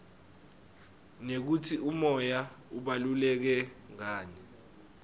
nekutsi umoya ubaluleke ngani